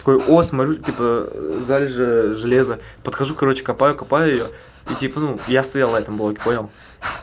такой о смотрю типа залежи железа подхожу короче копаю копаю её и типа ну я стоял на этом блоке понял